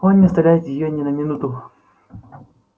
он не оставляет её ни на минуту